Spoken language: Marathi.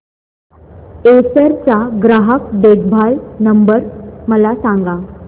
एसर चा ग्राहक देखभाल नंबर मला सांगा